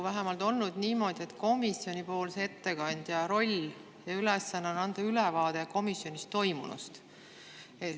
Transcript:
Vähemalt seni on olnud niimoodi, et komisjoni ettekandja roll ja ülesanne on anda ülevaade komisjonis toimunust.